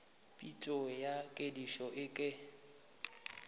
phišo ya kedišo e ka